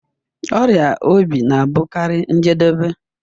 Ọrịa obi na-abụkarị njedebe